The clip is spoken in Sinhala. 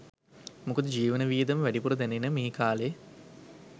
මොකද ජීවන වියදම වැඩිපුර දැනෙන මේ කාලෙ